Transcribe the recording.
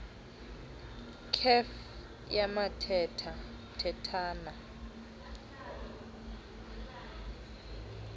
kef yathetha thethana